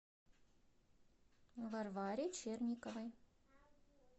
варваре черниковой